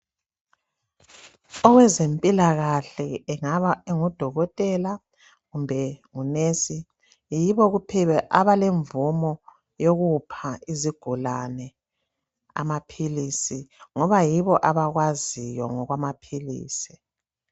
Owezempila kahle engabe engudokotela kumbe ngunesi yibo kuphela abalemvumo yokupha izigulani amaphilisi ngoba yibo abakwaziyo ngokwamaphilisi